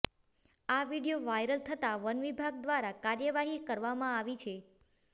આ video viral થતા વનવિભાગ દ્વારા કાર્યવાહી કરવામાં આવી છે